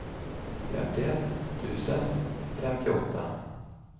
femtioett tusen femtioåtta